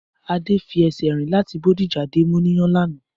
Adé fi esè rìn láti Bódìjà dé Móníyà lanàá